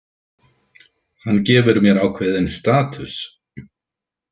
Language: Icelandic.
Hann gefur mér ákveðinn „status“.